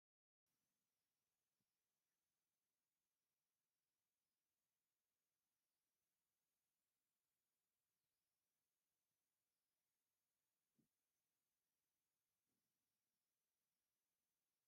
ኣብ ኢትዮጵያ ካብ ዝርከቡ ቤሄራት ሓደ ዝኮነ ኣምሓራ ክልል እንትከውን ናይ ኣምሓራ ደቂ ኣንስትዮ ባህላዊ ክዳን ተከዲነን ኣብ ርዕሰን ፀሊም መንዲል ዝገበራ እየን።